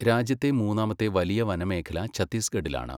രാജ്യത്തെ മൂന്നാമത്തെ വലിയ വനമേഖല ഛത്തീസ്ഗഢിലാണ്